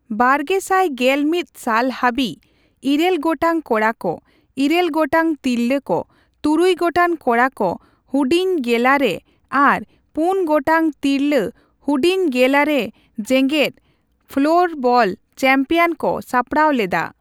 ᱵᱟᱨᱜᱮᱥᱟᱭ ᱜᱮᱞᱢᱤᱛ ᱥᱟᱞ ᱦᱟᱹᱵᱤᱡ, ᱤᱨᱟᱹᱞ ᱜᱚᱴᱟᱝ ᱠᱚᱲᱟ ᱠᱚ, ᱤᱨᱟᱹᱞ ᱜᱚᱴᱟᱝ ᱛᱤᱨᱞᱟᱹ ᱠᱚ, ᱛᱩᱨᱩᱭ ᱜᱚᱴᱟᱝ ᱠᱚᱲᱟ ᱠᱚ ᱦᱩᱰᱤᱧᱼᱜᱮᱞᱟᱨᱮ ᱟᱨ ᱯᱩᱱ ᱜᱚᱴᱟᱝ ᱛᱤᱨᱞᱟᱹ ᱦᱩᱰᱤᱧᱼᱜᱮᱞᱟᱨᱮ ᱡᱮᱜᱮᱫ ᱯᱷᱚᱞᱳᱨᱵᱟᱞ ᱪᱮᱢᱯᱤᱭᱚᱱ ᱠᱚ ᱥᱟᱯᱲᱟᱣ ᱞᱮᱫᱟ ᱾